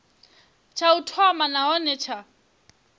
tsha u thoma nahone tsha